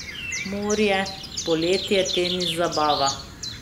Morje, poletje, tenis, zabava.